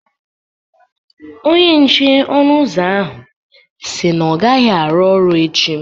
Onye nche ọnụ ụzọ ahụ si na ọ gaghị arụ ọrụ echi